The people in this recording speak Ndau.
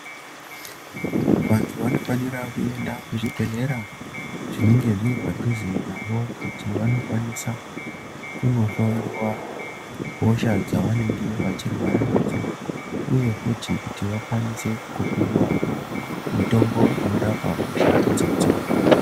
Vantu vanofanira kuenda kuzvibhedhlera zvinenge zviri padhuze navo kuti vanokwanisa kunohlowiwa hosha dzavanenge vachirwara nadzo uye futi kuti vakwanise kupiwa mutombo unorapa hosha idzodzo.